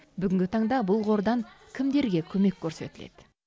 бүгінгі таңда бұл қордан кімдерге көмек көрсетіледі